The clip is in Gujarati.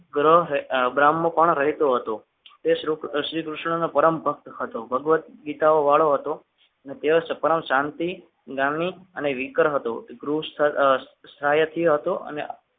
ગ્રહ બ્રાહ્મણ પણ રહેતો હતો તે શ્રીકૃષ્ણનો પરમ ભક્ત હતો ભગવદગીતાઓ વાળો હતો અને તેઓ જાણથી જાનનીકર હતો.